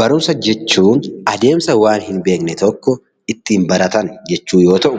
Barumsa jechuun adeemsa waan hin beekne tokko ittiin baratan jechuu yoo ta'u,